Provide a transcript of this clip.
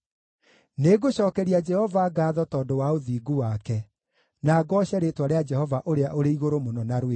Nĩngũcookeria Jehova ngaatho tondũ wa ũthingu wake, na ngooce rĩĩtwa rĩa Jehova Ũrĩa-ũrĩ-Igũrũ-Mũno na rwĩmbo.